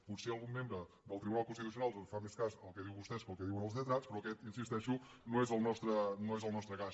potser algun membre del tribunal constitucional fa més cas al que diuen vostès que al que diuen els lletrats però aquest hi insisteixo no és el nostre cas